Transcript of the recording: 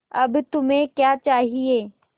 अब तुम्हें क्या चाहिए